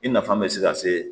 I nafa bɛ se ka se